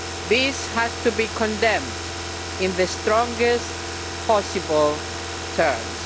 This has to be condemned in the strongest possible terms.